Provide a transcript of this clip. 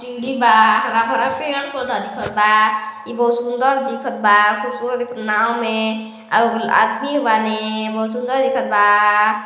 TD बा हरा भरा पेड़-पौधा दिखत बा ए बहुत सुंदर दिखत बा खुबसुरत दिखत नाओ में ए आदमी बाने बहुत सुंदर दिखत बा।